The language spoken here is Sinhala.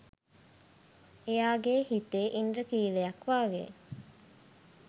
එයාගේ හිතේ ඉන්ද්‍රඛීලයක් වගේ